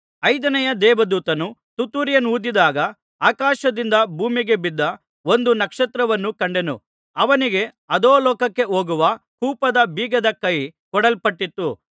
ಐದನೆಯ ದೇವದೂತನು ತುತ್ತೂರಿಯನ್ನೂದಿದಾಗ ಆಕಾಶದಿಂದ ಭೂಮಿಗೆ ಬಿದ್ದ ಒಂದು ನಕ್ಷತ್ರವನ್ನು ಕಂಡೆನು ಅವನಿಗೆ ಅಧೋಲೋಕಕ್ಕೆ ಹೋಗುವ ಕೂಪದ ಬೀಗದ ಕೈ ಕೊಡಲ್ಪಟ್ಟಿತು